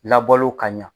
Labɔlo ka ɲa